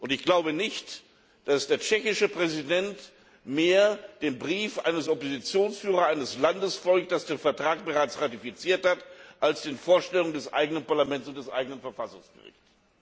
Ich glaube nicht, dass der tschechische Präsident eher dem Brief des Oppositionsführers eines Landes folgt, das den Vertrag bereits ratifiziert hat, als den Vorstellungen des eigenen Parlaments und des eigenen Verfassungsgerichts!